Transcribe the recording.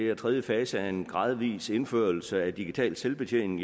er tredje fase af en gradvis indførelse af digital selvbetjening